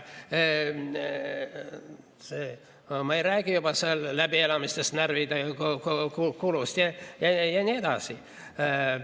Ma ei räägigi seal läbielamistest, närvikulust ja nii edasi.